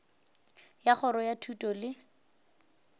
ya kgorong ya thuto le